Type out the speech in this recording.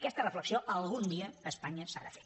aquesta reflexió algun dia a espanya s’ha de fer